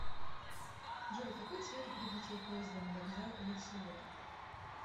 джой какой цвет у прибытие поезда на вокзал ля сиота